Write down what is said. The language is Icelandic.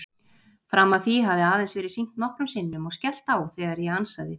Fram að því hafði aðeins verið hringt nokkrum sinnum og skellt á þegar ég ansaði.